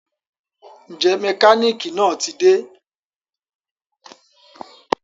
Njẹ mekaniki naa ti de?